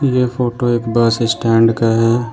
यह फोटो एक बस स्टैंड का है ।